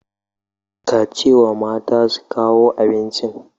Ka ce wa mata su kawo abincin.